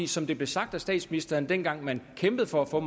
som det blev sagt af statsministeren dengang man kæmpede for at få